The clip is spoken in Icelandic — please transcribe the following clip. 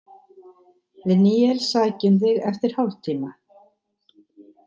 Við Níels sækjum þig eftir hálftíma.